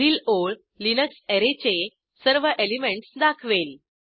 पुढील ओळ लिनक्स अॅरेचे सर्व एलिमेंटस दाखवेल